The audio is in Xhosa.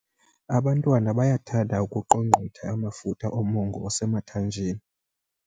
Abantwana bayathanda ukuqongqotha amafutha omongo osemathanjeni.